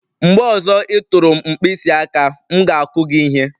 Mgbe ọzọ ị tụrụ m mkpịsị aka, m ga-akụ gị ihe..